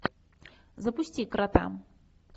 запусти крота